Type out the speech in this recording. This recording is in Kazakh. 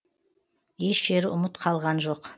еш жері ұмыт қалған жоқ